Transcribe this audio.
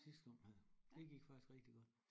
Sidste gang her det gik faktisk rigtig godt